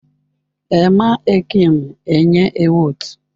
Ẹma ẹkịm enye ẹwot.